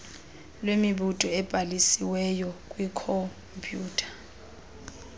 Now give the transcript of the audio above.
lwemibutho ebhalisiwey kwikhompyutha